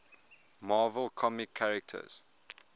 marvel comics characters